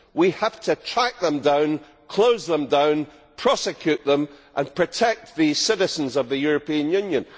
We have to track them down, close them down, prosecute them and protect the citizens of the European Union.